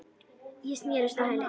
Ég snerist á hæli.